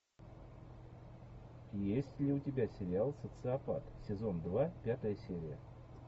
есть ли у тебя сериал социопат сезон два пятая серия